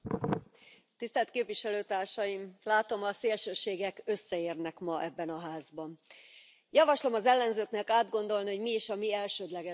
Elnök Asszony! Látom, a szélsőségek összeérnek ma ebben a Házban. Javaslom az ellenzőknek átgondolni, hogy mi is a mi elsődleges dolgunk.